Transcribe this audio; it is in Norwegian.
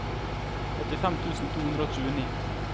åttifem tusen to hundre og tjueni